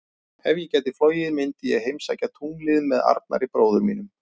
Ef ég gæti flogið myndi ég heimsækja tunglið með Arnari bróður mínum.